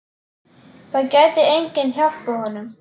Það gæti enginn hjálpað honum.